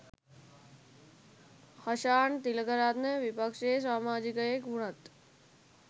හෂාන් තිලකරත්න විපක්ෂයේ සාමාජිකයෙක් වුණත්